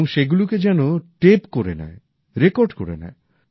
এবং সেগুলিকে যেন টেপ করে নেয় রেকর্ড করে নেয়